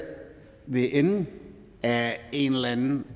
ved enden af en eller anden